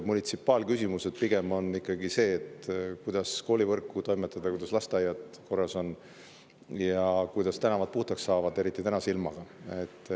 Munitsipaalküsimused on pigem ikkagi need, kuidas koolivõrguga toimetada, kuidas lasteaiad korras ja kuidas tänavad puhtaks saada, mis on eriti oluline tänase ilmaga.